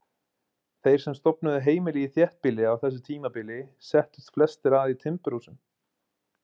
Þeir sem stofnuðu heimili í þéttbýli á þessu tímabili settust flestir að í timburhúsum.